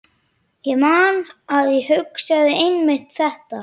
Ég man að ég hugsaði einmitt þetta.